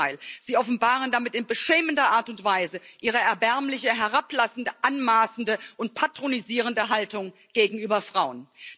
Im Gegenteil Sie offenbaren damit in beschämender Art und Weise Ihre erbärmliche, herablassende, anmaßende und patronisierende Haltung gegenüber Frauen.